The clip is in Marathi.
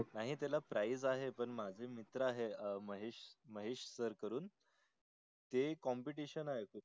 नाही त्यला price माझे मित्र आहे महेस महेस sir करून ते Competition आहे.